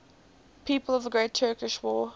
people of the great turkish war